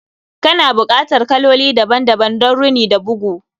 Kana bukatar kaloli daban-daban don rini da bugu